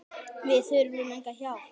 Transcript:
Við þurfum enga hjálp.